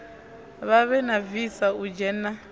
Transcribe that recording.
vhavhe na visa u dzhena